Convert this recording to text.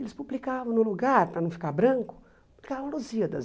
Eles publicavam no lugar, para não ficar branco, publicavam Lusíadas.